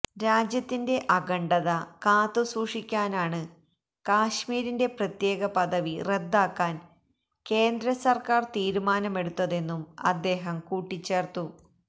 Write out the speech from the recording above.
രാജ്യത്തിന്റെ അഖണ്ഡത കാത്തുസൂക്ഷിക്കാനാണ് കശ്മീരിന്റെ പ്രത്യേക പദവി റദ്ദാക്കാന് കേന്ദ്രസര്ക്കാര് തീരുമാനമെടുത്തതെന്നും അദ്ദേഹം കൂട്ടിച്ചേര്ത്തു